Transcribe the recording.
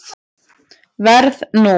Verð nú.